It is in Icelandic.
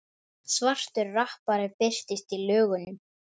Svartur rappari birtist í lögunum